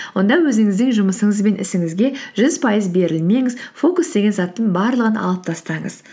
онда өзіңіздің жұмысыңыз бен ісіңізге жүз пайыз берілмеңіз фокус деген заттың барлығын алып тастаңыз